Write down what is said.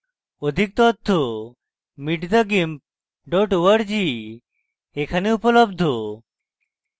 অধিক তথ্য